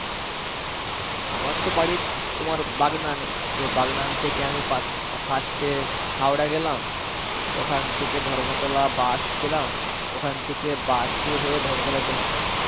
আমার তো বাড়ি, তোমার বাগনানে. তো বাগনান থেকে আমি পাত~ first এ হাওড়া গেলাম. ওখান থেকে ধর্মতলা bus পেলাম. ওখান থেকে bus এ হয়ে ধর্মতলা গেলাম.